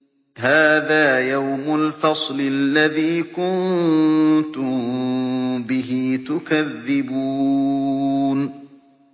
هَٰذَا يَوْمُ الْفَصْلِ الَّذِي كُنتُم بِهِ تُكَذِّبُونَ